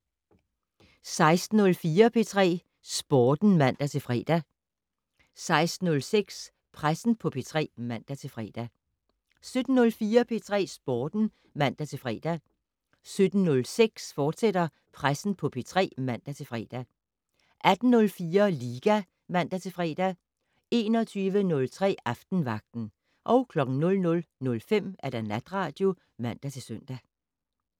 16:04: P3 Sporten (man-fre) 16:06: Pressen på P3 (man-fre) 17:04: P3 Sporten (man-fre) 17:06: Pressen på P3, fortsat (man-fre) 18:04: Liga (man-fre) 21:03: Aftenvagten 00:05: Natradio (man-søn)